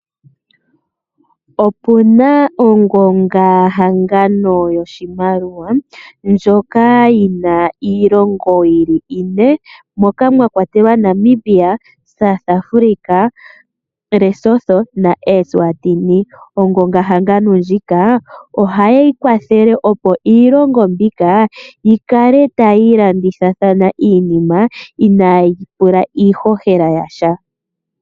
Opuna ongonga hangano yoshimaliwa moka muna iilongo ine . Moka mwakwatelwa Namibia, South Africa , Lesotho, Eswatini . Ongonga hangano ndjika ohayi kwathele opo iilongo mbika yikale tayi ilandithathana iinima inaayi pula iihohela yasha .